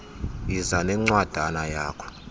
yiza nencwadana yakho